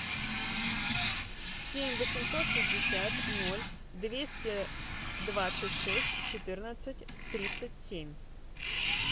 семь восемьсот шестьдесят ноль двести двадцать шесть четырнадцать тридцать семь